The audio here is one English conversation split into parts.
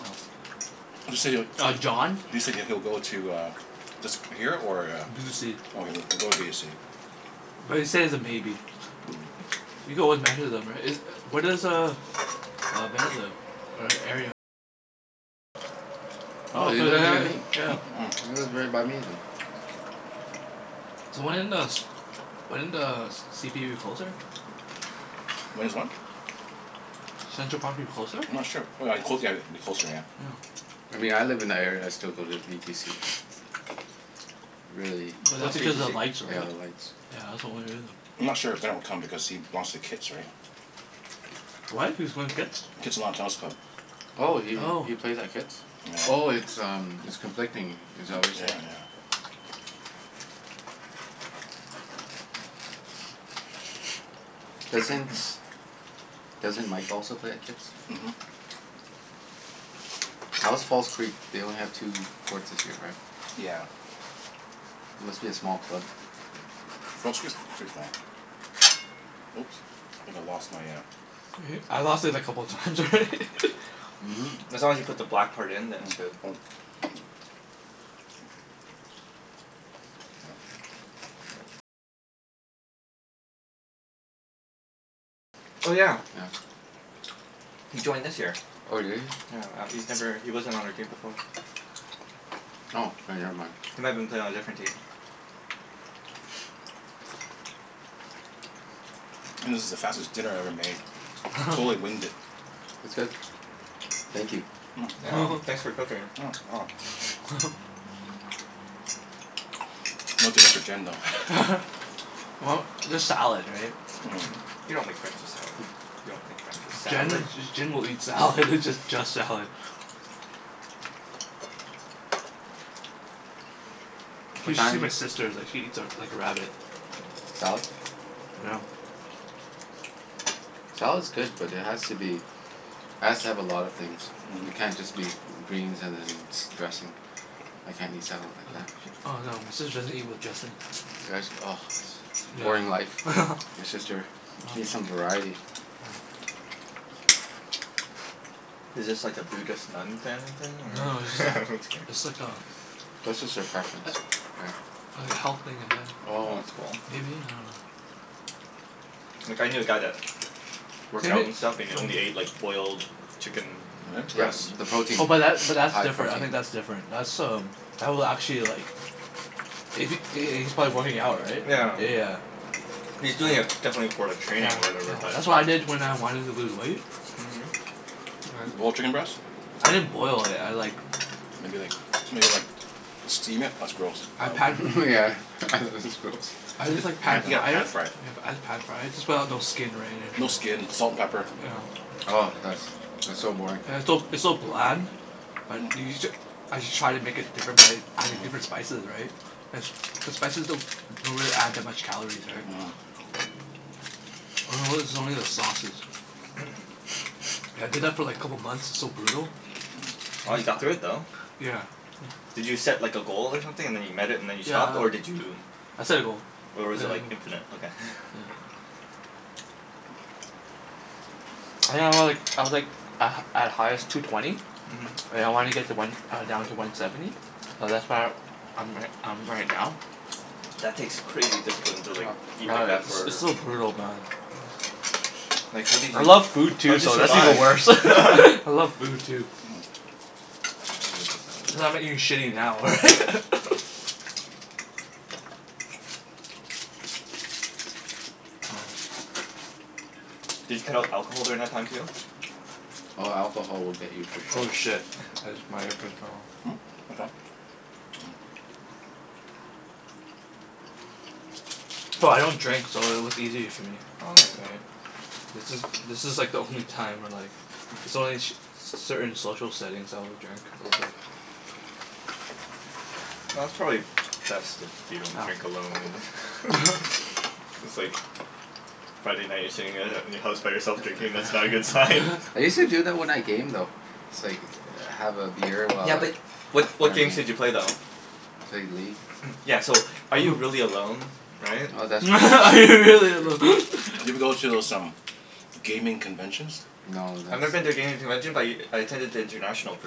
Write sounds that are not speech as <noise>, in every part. so <noise> Mm. <noise> You said it Uh, John. You said he'll go to uh this here or <noise> a B to c. Okay, w- we'll go with b of c. <noise> But he said he's a maybe. <noise> <noise> You go with <inaudible> right? Is u- where Mm. does uh uh Bennett live? <noise> <noise> Hmm? Oh, he lives near me? He lives right by me then. <noise> So when does when does c p u closer? Mm. <noise> When is what? <noise> I'm <noise> Central Park move closer? not sure. W- w cl- yeah, like it'd be closer, yeah. Yeah. <noise> I mean I live in that area, I still go to v t c. <noise> Really. <noise> But that's What's v t because of c? lights, Yeah, right? the lights. Yeah, that's the only <noise> reason. I'm not sure if Ben will come because he lost to Kits, right? <noise> What? He was going to Kits? <noise> Kitsilano Tennis Club. <noise> <noise> Oh, he <noise> Oh. he plays at Kits? <noise> Oh, Yeah. <noise> it's um it's conflicting. Is that what Yep, you're yeah, saying? yeah. <noise> Doesn't doesn't Mike also play at Kits? <noise> <noise> Mhm. How is False Creek? They only have two courts this year, right? <noise> Yeah. <noise> Must be a small club. <noise> False Creek's pretty small. <noise> Oops. I think I lost my uh E- I lost it a couple times already. <laughs> <noise> Mhm. <noise> As long as you put the black part in then it's good. Mm. <noise> Yeah. <noise> Oh yeah. Yeah. <noise> He joined this year. Oh, did he? Yeah. Uh he's never, he wasn't on our team before. <noise> Oh, k never mind. <noise> He might have been playing on a different team. This is the fastest dinner I ever made. <noise> Totally winged it. <laughs> <noise> It's good. <noise> Thank you. <noise> <noise> Mm. Yeah. You're welcome. Thanks <laughs> for cooking. Mm. <noise> <laughs> <noise> No dinner for <noise> Jen, though. <laughs> <noise> Well, there's salad, right? Mhm. <noise> You don't make friends with salad. You don't make friends with <noise> Jen salad. J- Jen will eat salad. Just just salad. <noise> Hmm. <noise> <noise> What You should see my time sister is like, she eats a like a rabbit. Salad? <noise> Salad's good, but it has to be <noise> has to have a lot of things. <noise> Yeah. It Mm. can't just be g- greens and then s- dressing. I <noise> can't eat salad like Oh that. yeah. Oh, no, my sister doesn't eat with dressing. <noise> Yeah, sh- ah. <noise> Boring life, Yeah. <laughs> your <noise> sister. She needs some variety. <noise> Is this like a Buddhist nun family thing, Mm. <noise> Mm. <noise> No no, it's or? <laughs> like Just it's like a kidding. <noise> <noise> <noise> That's just her <noise> preference, a- right? like health thing ahe- Well Oh. that's cool. maybe? I dunno. <noise> Like I knew a <noise> guy that <noise> Same worked out and stuff, and he only ate like i- boiled chicken mm <noise> <noise> Yep, breast. the Really? protein. <noise> Oh The but that but that's high <noise> different. I protein. think that's different. That's um that will actually like <noise> if he h- h- he's probably working out, right? Yeah. Yeah, yeah. He's Yeah. doing it definitely for like Yeah, training or yeah. whatever, but That's what I did when I wanted to lose weight. Mhm. <noise> Boiled chicken breast? <noise> Right. I didn't boil it, I like Maybe like made it like steam it? That's gross. <noise> I Um pan <laughs> Myeah, <laughs> this is gross. I just like <noise> Pa- pan yeah, <inaudible> fried it. pan-fry it. Yep, I just pan fried. Just put out no skin or No anything, yeah. skin. Salt and pepper. Yeah. <noise> <noise> Oh, that's that's so boring. <noise> It's so it's so bland. <noise> But you you j- as you try to make it different by adding different spices, right? The s- the spices don't don't really add that much calories, right? Mhm. <noise> <noise> I notice it's only Mhm. the sauces. <noise> I did that for like a couple months. It's so brutal. <noise> Wow, you got through it though. Yeah. Yeah. Did you <noise> set like a goal or something, and then you met it and then you Yeah stopped? I Or did you I set a goal. or Yeah, was I it ho- like, infinite? Okay. yeah. <laughs> I think I was like, I was like a at highest, two twenty. <noise> And I wanna get to one uh down to one seventy. Mhm. So that's where <noise> I'm ri- I'm right now. <noise> That takes crazy <noise> discipline to like <noise> eat Yeah, like that it's s- for it's so brutal, man. Like how did I you, love food how too, did you so that's even survive? worse. <laughs> I love <laughs> food, too. <noise> Mm. I'm gonna move the salad Cuz I'm now. not Oh. eating shitty now, right? <laughs> <noise> <noise> Did you cut out alcohol during that time too? <noise> Hmm? Oh, alcohol will get you for <noise> Oh sure. shit, <noise> I jus- my earpiece fell off. <inaudible> No, I don't drink so it was easy for me. <noise> Okay. Right? This is, this is like the only time where like It's only in sh- c- certain social settings I will drink a little bit. <noise> Well, that's probably best if you don't drink alone <noise> <noise> <noise> and <laughs> It's like Yeah. Friday night you're sitting at <noise> i- in your house by yourself drinking. That's not a good sign. <laughs> <laughs> I use to do that when I game, though. It's like, have a <noise> beer <noise> while Yeah I but what while what I game. games did you play though? <laughs> Played League. <noise> Yeah so, are you really alone? Right? Oh, <noise> that's true. <laughs> That's Are you really true. alone? <noise> <laughs> Have you ever go to those um gaming conventions? <noise> No, I've never been to a that's gaming convention but y- I attended the international for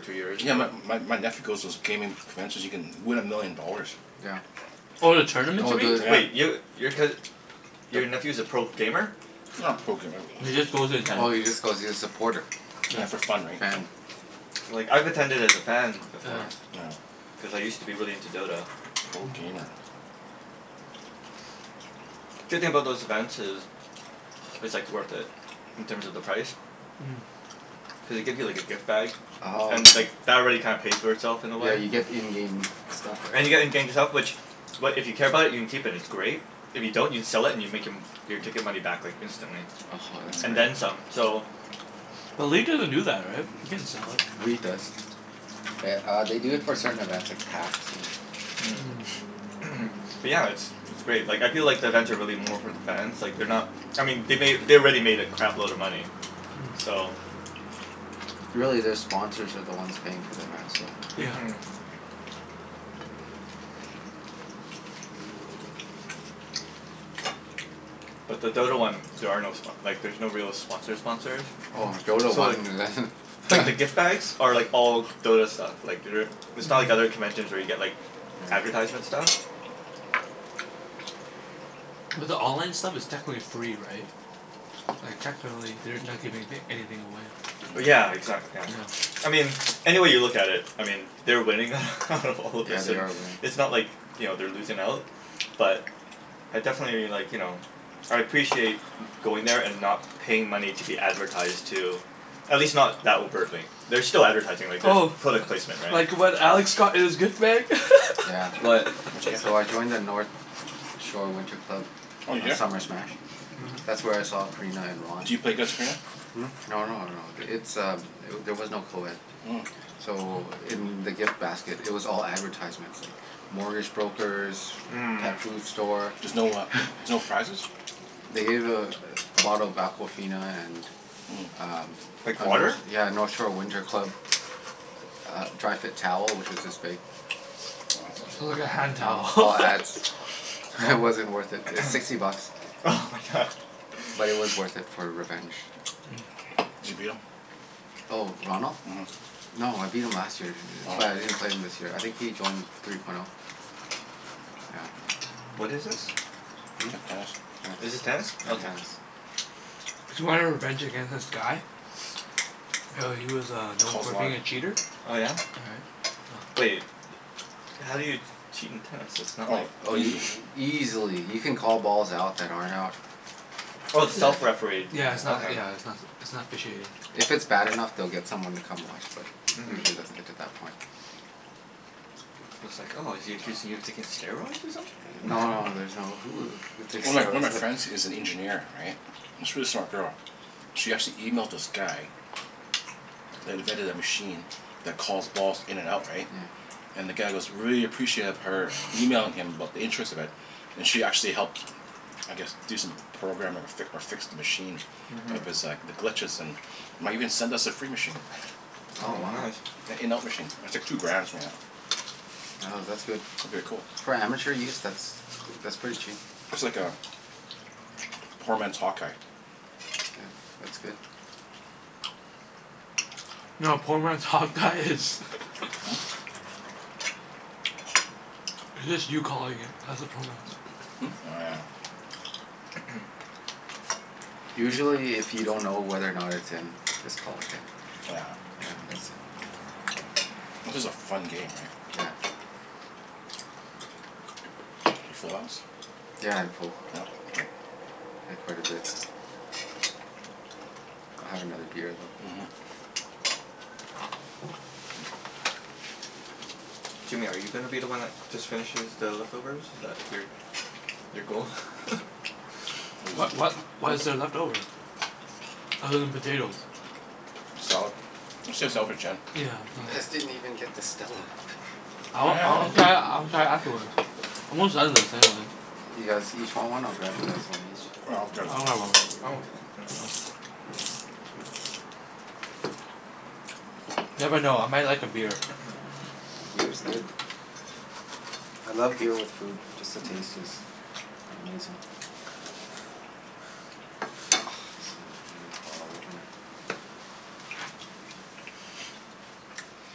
two years in Yeah, a my row. my my nephew goes to those gaming <noise> conventions. You can win a million dollars. Yeah. <noise> <noise> Oh, the tournaments, Oh, you mean? the Wait, Yeah. yo- your cous- your the nephew's a pro gamer? <noise> Not a pro gamer. <noise> He just goes to <noise> attend. Oh, he just goes, he's a supporter. Yeah, for fun, right? So Fan. <noise> Like, I've attended as a fan Oh, Yeah. before. yeah. Yeah. Cuz I used to be really into <noise> Dota. Pro Mhm. gamer. Yeah. <noise> Good thing <noise> about those events is it's like Mm. worth it, in terms of the price. <noise> Cuz they give you like a gift bag, Mm. Oh, and okay. like that already kinda pays for itself in a way. <noise> Yeah, you get in-game stuff, right? And you're getting gaming stuff which, what, if you care about it you can keep, and it's great. If you don't you can sell it and you make em- your ticket money back like instantly. oh <noise> ho, that's And Mm. then great. some, so <noise> But leet doesn't do that, right? You can't sell it. League does. <noise> Th- uh, they do it <noise> for certain events, like Hacks and Mm. <noise> Mm. Mm. <noise> <noise> But Yeah. yeah, it's it's great. Like, I feel like the events are really more for the fans. Like, they're not I mean they made, they already made a crap load of money. So <noise> Really, their sponsors are the ones paying for <noise> events, so <noise> <noise> Mhm. <noise> But the Dota one, there are no spo- like there's no real sponsor sponsors. <noise> <noise> Oh. Oh, <noise> Dota So one like like the gift <laughs> bags are like all Dota stuff. Like they're it's not like other conventions where you get like <noise> Yeah. advertisement stuff. <noise> Mhm. <noise> But the online stuff is technically free, right? Like technically they're not giving anyth- anything away. <noise> <noise> Mm. Yeah, exac- yeah. <noise> <noise> I Yeah. mean any way you look at it I mean they're winning <laughs> out <noise> of all this Yeah, they and are winning. it's not like, you know, they're losing out. But I definitely like, you know I appreciate going there and not paying money to be advertised to. At least not that overtly. There's still advertising. <noise> Like, there's Oh. product placement, right? Like what Alex got in his gift bag? <laughs> <noise> Yeah. What? <noise> What did you get? So I joined the North Shore Winter Club Oh did ya? Summer Smash. That's where I saw Corina and Ron. Do you play against Corina? Hmm? No no no, it's um eh- there was no coed. Mm. So in the gift basket it was all advertisements like <noise> mortgage brokers Mhm. <noise> pet food store. There's no uh <laughs> there's no prizes? They Mm. gave a <noise> bottle of Aquafina and <noise> Mm. um <noise> Like a Nort- water? yeah, a <noise> North Shore Winter Club a uh dry fit towel, which was this big. Wow. <noise> It's like a hand towel. All <laughs> ads. <noise> Wow It wasn't <noise> worth it. It was sixty bucks. <noise> oh my god. But it was worth <laughs> it <laughs> for revenge. <noise> Zee beetle? <noise> Oh, Ronald? Mhm. No, I beat him last year. Oh. But <noise> I didn't play him this year. I think he joined three point oh. Yeah. <noise> What is this? Hmm? T- tennis. Oh. Is Yeah, this tennis? Mm. tennis. Okay. <noise> Mm. <noise> Cuz you wanted revenge against this guy? Yeah, he was uh <noise> known Cold for war. being a cheater. Oh yeah? But Right? Yeah. y- how do you cheat in tennis? <noise> It's not Oh. like <noise> Oh y- Easily. <noise> easily. You <noise> can call balls out that aren't out. Oh, it's Yeah. self-refereed. <noise> Yeah, it's not Okay. yeah, it's not s- it's not officiated. If it's bad enough, <noise> they'll get someone to come watch but usually it doesn't Mhm. get to that point. <noise> I was like, "Oh, is he accusing you of taking steroids or <noise> No no something?" no, <laughs> there's no, who who <noise> takes One of my one of steroids? my friends <laughs> is an engineer, right? It's really smart girl. She actually emailed this guy <noise> that invented a machine that calls balls in and out, Yeah. right? And the guy <noise> goes really appreciative of her emailing him about the interest of it. And she actually helped I guess do some programming or fic- or fix the machine. <noise> Mhm. Of <noise> his like, the glitches and might even send us a free machine. <laughs> Oh, Oh wow. nice. <noise> An in-out machine. It's like two grand, something like that. Oh, that's good. It'd be a cool. For amateur use? That's g- that's pretty cheap. <noise> It's like a <noise> poor man's hawk eye. Yeah. That's good. <noise> No, a poor man's hawk-eye is <noise> <laughs> <noise> Hmm? <noise> It's just you calling it. That's a poor man's <noise> Hmm? Oh yeah. <noise> <noise> Usually if you don't know whether or not it's in just call it in. <noise> Oh yeah. Yeah, that's a <noise> This is a fun game, right? Yeah. <noise> You full house? <noise> Yeah, Yeah? I'm full. K. I had quite a bit. <noise> I'll have another beer though. <noise> Mhm. <noise> Jimmy, are you gonna be the one that just finishes the leftovers? Is that your your goal? <laughs> <noise> <noise> What what <noise> what What is is it? there What? left over? Other than potatoes? <noise> Salad. Let's save the salad for <noise> Jen. <noise> Oh Yeah, You well Yeah. guys didn't even get to Stella. I y- want, I wanna yeah. try it, I wanna try it afterwards. I'm almost done this anyway. You guys <noise> Yeah, each want one? I'll grab you guys one each. I'll grab that I'll one. have one. I'm okay, for now. Oh. <noise> <noise> Never know. I might like a beer. <noise> Yeah, beer's good. I love beer with food. Just the taste is amazing. <noise> Oh, so I need a bottle opener. Mm. <noise> <noise>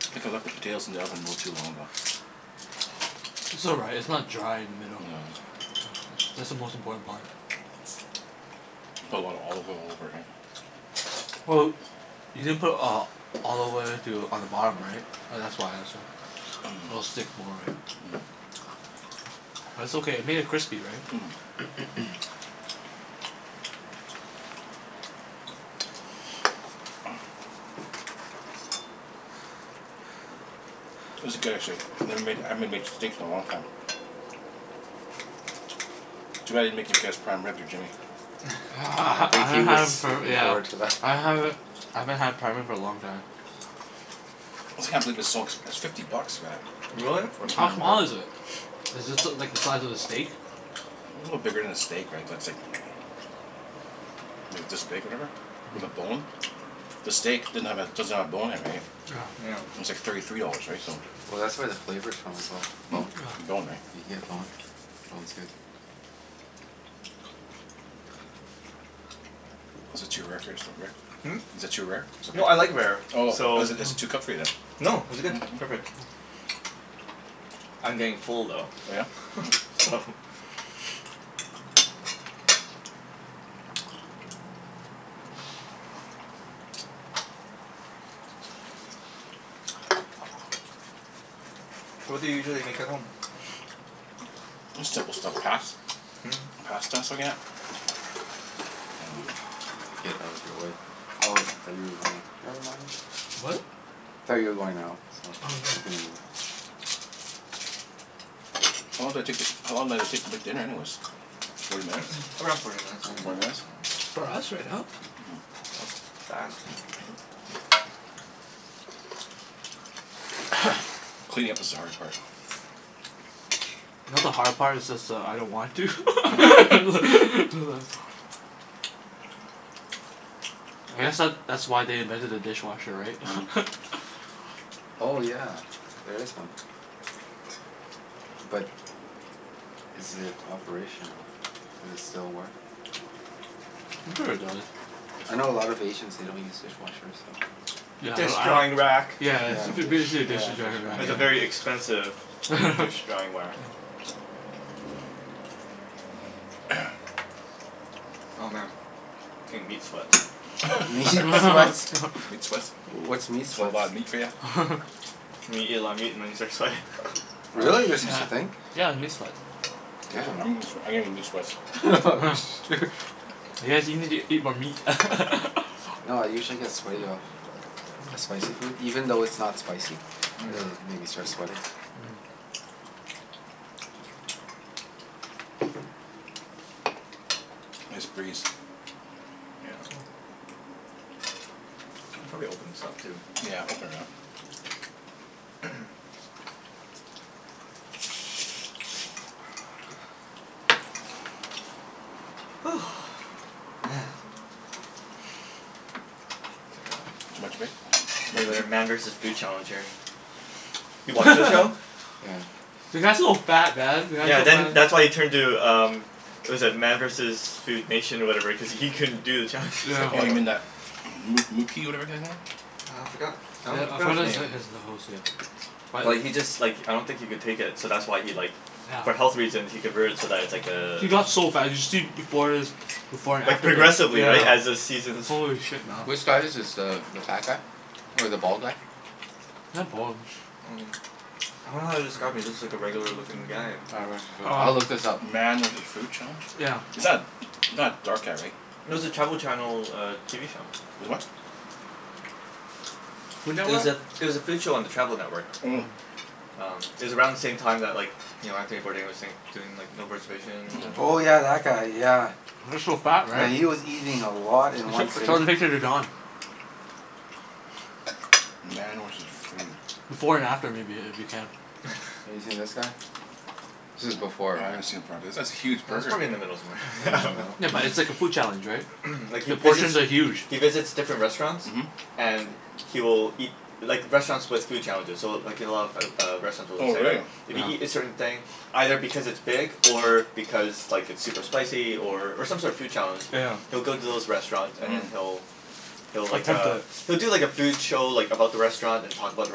I think I left the potatoes in the oven a little too long, though. It's <noise> all right. It's not dry in the middle. No. No. That's the most important part. <noise> Put a lotta olive oil over it, <noise> right? Well, you didn't put <noise> uh olive oil too on the bottom, right? Oh, that's why it's so it'll stick more, right? <noise> <noise> But it's okay. It Mm. made it crispy, right? <noise> <noise> Mm. <noise> Mm. <noise> This is good, actually. I never made, I haven't m- made steaks in a long time. <noise> <noise> Too bad I didn't make you guess prime rib or Jimmy. <noise> <laughs> I ha- Yeah, I ha- I think he haven't was had for looking yeah forward to that. I haven't I haven't had prime rib for a long time. <noise> I just can't believe it's so ex- it's fifty bucks for that. <noise> Really? <noise> For How Mhm. prime small rib. is it? <noise> <noise> A Is this l- like the size of a steak? little bigger than a steak, right? But it's like <noise> <noise> Maybe it's this big, whatever. With a Mm. bone. The steak didn't have a, doesn't have a bone in it, right? <noise> <noise> Yeah. It's like thirty three dollars, right? So Well that's where the Yeah. flavor's from, as well. The Hmm? bone. The bone, right? You can get boned. <noise> Bone's good. Yeah. <noise> Is it <noise> too rare for your st- Rick? <noise> Hmm? Is it too rare? Is it No, I okay? like rare, <noise> Oh, so is it is it too Oh. cooked for you, then? No, this is good. Perfect. <noise> I'm getting full <noise> Oh yeah? though <laughs> Mm. so <noise> <noise> <noise> Oh. <noise> So what do you usually make at home? <noise> <noise> <noise> Just simple stuff. Pas- Mm. Pasta s- again Mm. Here let me get out of your way. <noise> Oh, I thought you were going out. Never mind. What? Thought you were going out so Oh, I was no. gonna move. <noise> How long did it take to, how long did it take to make <noise> dinner, anyways? Forty minutes? <noise> Around forty minutes I Forty Forty think, minutes? minutes. yeah. For us right now? That was fast. Mm. <noise> <noise> Cleaning up is the hard part. <noise> Not the hard part, it's just that I don't want <laughs> to. <laughs> <noise> I guess that that's why they invented a dishwasher, <noise> right? <laughs> Oh yeah. There is one. But is it <noise> operational? Does it still work? Mm. <noise> I'm sure it does. I know a lot of Asians, they don't use dishwashers so <noise> <noise> Yeah, Dish I don't I drying don't rack. Yeah, Yeah, it's f- b- dish, yeah, dishes <laughs> drying dish rack. drying It's a very rack. expensive <noise> <noise> dish <laughs> drying whack. <noise> Yeah. <noise> <noise> Oh man, <noise> getting meat sweats. <noise> Meat <laughs> sweats? <laughs> Meat sweats? What's meat <noise> That's a whole sweats? lotta meat for ya? <noise> <laughs> Meat, eat a lot of meat and then you start sweating. Oh, <noise> <laughs> Really? There's such Yeah. a hmm. thing? <noise> Yeah, the meat sweat. Seriously? I'm Damn. gett- sw- I'm getting meat <noise> sweats. <laughs> <laughs> <noise> You guys you need to eat more meat. <laughs> No, I usually get <noise> Mm. <noise> Mm. <noise> sweaty off spicy food. Even though it's not spicy <noise> it'll make me start sweating. Mm. <noise> Nice breeze. <noise> Yeah. <noise> Can probably open this up, too. <noise> Yeah, open it up. <noise> <noise> <noise> Woo. Man. <noise> It's <noise> Too much vape? Too much like a regulator meat? Man versus Food Challenge here. <noise> <noise> You <laughs> watch that show? Yeah. The guy's so fat, man. The guy's Yeah, so then that's why fa- he turned to um what was it? Man versus Food Nation or whatever cuz he couldn't do the challenges <noise> Yeah. <noise> Oh, you anymore. mean that moo moo key whatever kinda thing? Uh, I forgot I <noise> don- forgot his name. <inaudible> But he just like <noise> I don't think he could take it, so that's why he like for health reasons he convert it so that it's like Yeah. <noise> uh He got so fat. You should see b- before his before and Like after pic, progressively, right? As the yeah. seasons Holy <noise> shit, man. Which guy is this? The the fat guy? Or the bald guy? <noise> Not bald. <noise> Um, <noise> I don't know how to describe him. He looks Hmm. like a regular lookin' guy. <noise> Oh right, <noise> foo- I'll Um look <noise> this up. Man with his food challenge? Yeah. <noise> Is that <noise> not a dark guy, right? No, it was a <noise> Travel Channel TV show. Is <noise> what? It was a, it was a food show on the Travel Network. Mm. <noise> Um, it was around the same time that like you know, Anthony Bourdain was saying, <noise> doing like No Reservations, and Oh yeah, Mhm. that guy. Yeah. Mm. <noise> He was so fat, right? Yeah, he was eating a <laughs> lot in one Sh- sitting. show the picture to Don. <noise> Man was his <noise> food. <noise> Before and after, maybe. If you can. <laughs> Have you seen this guy? This is <noise> Oh, before, I haven't <noise> seen it right? for a b- that's a Yeah, huge that's burger. probably in the middle somewhere. In the middle. <noise> Yeah, <laughs> No. but it's like a food challenge, right? <noise> Like he The visits, portions are huge. he visits different restaurants. Mhm. And he will eat, like restaurants with food challenges so <noise> w- like you know of o- a lot of restaurants Oh, will say like really? <noise> if you Yeah. eat a certain thing, either because it's big <noise> or because like it's super Mhm. spicy or or some sort of food challenge <noise> he'll Yeah. go to those restaurants and then Mhm. he'll he'll like Attempt uh, it. <noise> he'll do like a food show like about the Mm. restaurant, <noise> Mm. <noise> and talk about the